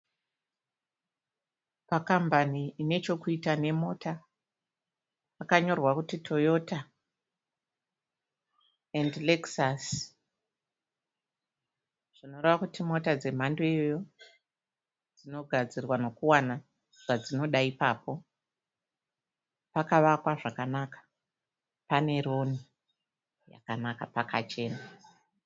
Pakambani ine chekuita nemota pakanyorwa kuti 'Toyota and Lexus' zvinoreva kuti mota dzemhando iyoyo dzinogadzirwa nokuwana zvadzinoda ipapo, pakavakwa zvakanaka, pane roni yakanaka, pakachena.